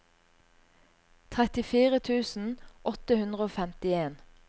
trettifire tusen åtte hundre og femtien